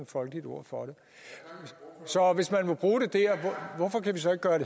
folkeligt ord for det så hvis man kan bruge det dér hvorfor kan